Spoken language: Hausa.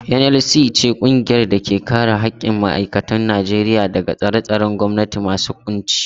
NLC ita ce ƙungiyar da ke kare haƙƙin ma'aikatan Najeriya daga tsare-tsaren gwamnati masu ƙunci.